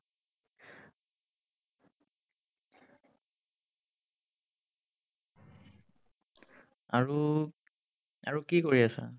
আৰু আৰু কি কৰি আছা?